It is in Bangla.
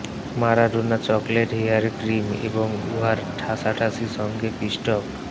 ম্যারাডোনা চকলেট হেয়ার ক্রিম এবং উহার ঠাসাঠাসি সঙ্গে পিষ্টক